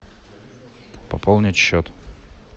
пополнить счет